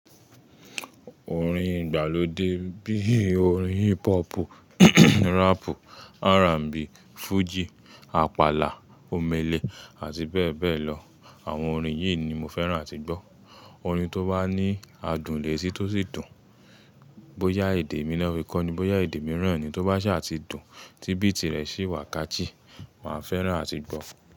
Orin ìgbàlódé bíi orin hip hop, rap, R&B, Fuji, Apala, Omele àti bẹ́ẹ̀ bẹ́ẹ̀ lọ. Àwọn orin yìí ni mo fẹ́ràn àti gbọ́. Orin tó bá ní àdùn létì tó sì dùn, bóyá èdè mí naá fi kọ́ ni, bóyá èdè mìíràn ni, tó bá ṣa ti dùn, tí bíìtì rẹ̀ sì wà catchy, màá fẹ́ràn àti gbọ́.